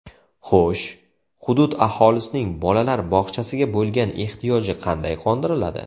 Xo‘sh, hudud aholisining bolalar bog‘chasiga bo‘lgan ehtiyoji qanday qondiriladi?